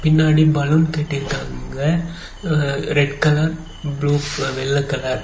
பின்னாடி பலூன் கேட்டிருக்காங்க red colour blue வெள்ள கலர் .